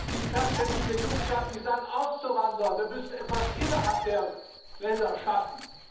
Die Perspektive der Jugend darf nicht sein, auszuwandern. Wir müssen etwas innerhalb der Länder schaffen.